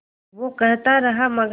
वो कहता रहा मगर